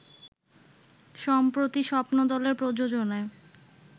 সম্প্রতি স্বপ্নদলের প্রযোজনায়